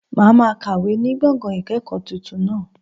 Màá ma kàwé ní gbọ̀ngàn ìkẹ̀kọ̀ọ́ tuntun náà